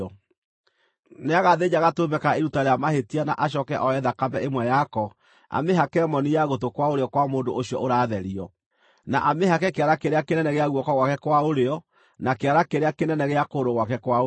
Nĩagathĩnja gatũrũme ka iruta rĩa mahĩtia na acooke oe thakame ĩmwe yako amĩhake moni ya gũtũ kwa ũrĩo kwa mũndũ ũcio ũratherio, na amĩhake kĩara kĩrĩa kĩnene gĩa guoko gwake kwa ũrĩo na kĩara kĩrĩa kĩnene gĩa kũgũrũ gwake kwa ũrĩo.